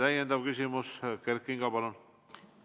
Täiendav küsimus, Kert Kingo, palun!